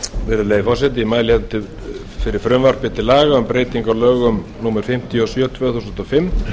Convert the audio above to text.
virðulegi forseti ég mæli hérna fyrir frumvarpi til laga um breytingu á lögum númer fimmtíu og sjö tvö þúsund og fimm